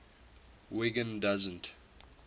wiggin doesn t